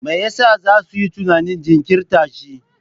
Me yasa za su yi tunanin jinkirta shi?